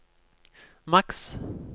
maks